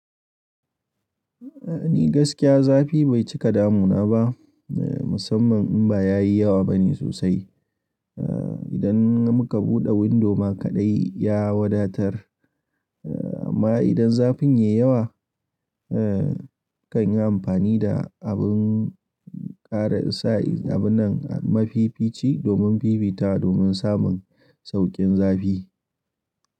Ni gaskiya zafi bai cika damu na ba, musamman in ba ya yi yawa bane sosai. Idan muka buɗe windo ma kaɗai ya wadatar. Amma idan zafin ya yi yawa, nakan yi amfani da abin ƙara isa abun nan mafi fici domin fifita domin samun sauƙin zafi.